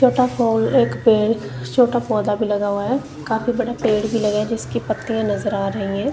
छोटा pole pole एक पे छोटा पौधा भी लगा हुआ है काफी बड़ा पेड़ भी लगे हैं जिसकी पत्तियां भी नजर आ रही हैं।